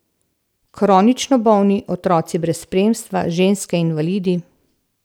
Kronično bolni, otroci brez spremstva, ženske, invalidi.